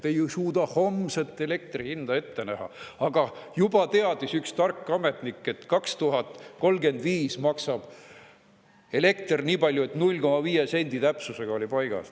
Te ei suuda isegi homset elektri hinda ette näha, aga juba teab üks tark ametnik, kui palju maksab elekter 2035. aastal, 0,5 sendi täpsusega on paigas.